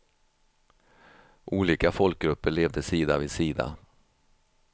Olika folkgrupper levde sida vid sida.